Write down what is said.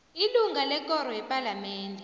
ilunga lekoro yepalamende